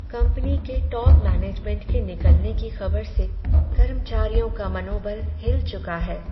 Company के top management के निकलने की खबर से कर्मचारियों का मनोबल हिल चुका है।